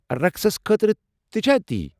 رقسس خٲطرٕ تہ چھا تی؟